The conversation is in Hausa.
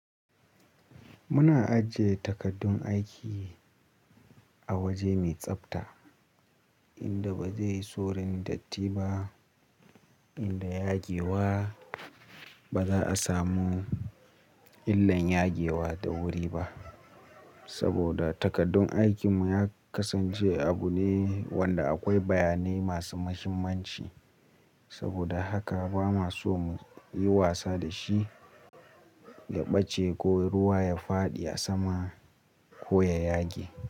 Muna ajiye takardun aiki a waje mai tsabta inda ba zai yi saurin datti ba inda yage wa ba za a samu illan yage wa da wuri ba. Saboda takardun aikin mu ya kasance abu ne wanda akwai bayanai masu muhimmanci. Saboda haka ba ma so mu yi wasa da shi ya ɓace ko ruwa ya fadi a sama ko ya yage.